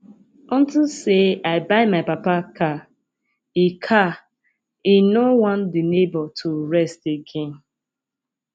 unto say i buy my papa car he car he no wan the neighborhood to rest again